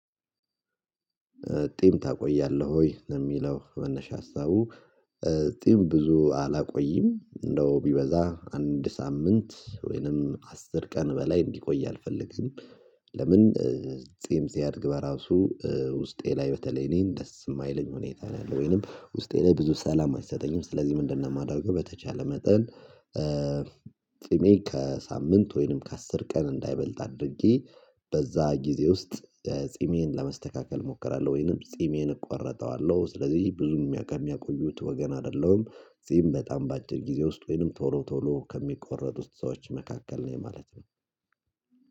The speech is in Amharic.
ጢም ታቆያለህ ወይ? ለሚለው መነሻ ሀሳቡ ጢም ብዙ አላቆይም እንደው ቢበዛ አንድ ሳምንት ወይንም አስር ቀን በላይ እንዲቆይ አልፈልግም። ለምን? ጺም ሲያድግ በራሱ ውስጤ ላይ በተለይ እኔን ደስ የማይለኝ ሁኔታ ነው ያለው ወይንም ውስጤ ላይ ብዙ ሰላም አይሰጠኝም ስለዚህ ምንድነው የማደርገው በተቻለ መጠን። ጺሜ ከሳምንት ወይንም ከአስር ቀን እንዳይበልጥ አድርጌ በዛ ጊዜ ውስጥ ጺሜን ለመስተካከል እሞክራለሁ ወይንም ጺሜን እቆረጠዋለሁ ስለዚህ ብዙም ከሚያቆዩት ወገን አይደለሁም። ጺም በጣም በአጭር ጊዜ ውስጥ ወይንም ቶሎ ቶሎ ከሚቆረጡት ሰዎች መካከል ነኝ ማለት ነው።